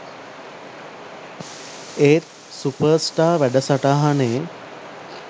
ඒත් superstar වැඩසටහනේ